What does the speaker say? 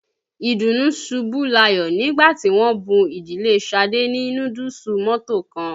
Ìdùnú ṣubú layọ̀ nígbà tí wọ́n bún ìdílé Ṣadé ní núdúùsù mọ́to kan.